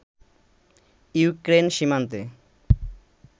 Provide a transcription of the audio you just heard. Ukraine সীমান্তে